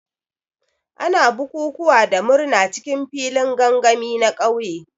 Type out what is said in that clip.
Ana bukukuwa da murna cikin filin gangami na ƙauye.